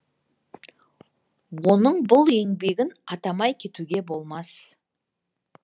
оның бұл еңбегін атамай кетуге болмас